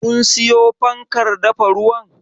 Kun siyo fankar dafa ruwan?